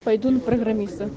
пойду на программиста